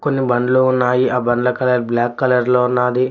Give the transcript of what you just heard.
కొన్ని బండ్లు ఉన్నాయి ఆ బండ్ల కలర్ బ్లాక్ కలర్ లో ఉన్నాయి.